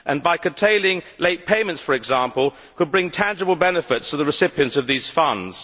By curtailing late payments, for example, it could bring tangible benefits to the recipients of these funds.